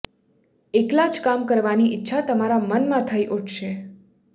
એકલા જ કામ કરવાની ઈચ્છા તમારા મનમાં થઈ ઉઠશે